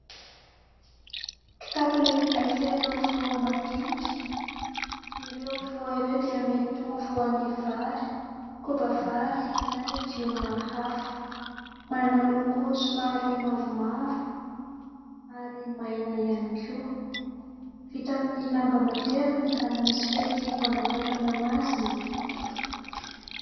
Kitapo lehibe feno voa madinika ; ireo voa ireo dia mety ho voan'ny vary, koba vary, na legioma hafa. Manana loko somary mavomavo ary maina ihany koa. Vita amin'ny lamba matevina, ary misy fehikibo anakatonana azy ny kitapo.